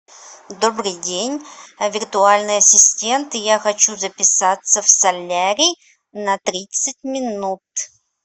добрый день виртуальный ассистент я хочу записаться в солярий на тридцать минут